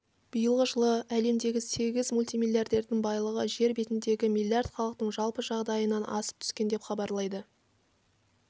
биылғы жылы әлемдегі сегіз мультимиллиардердің байлығы жер бетіндегі миллиард халықтың жалпы жағдайынан асып түскен деп хабарлайды